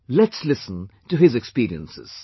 let's listen to his experiences